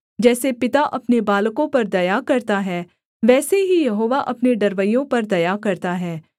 जैसे पिता अपने बालकों पर दया करता है वैसे ही यहोवा अपने डरवैयों पर दया करता है